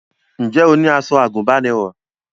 Ǹjẹ́ o ní aṣọ àgùnbánirọ̀?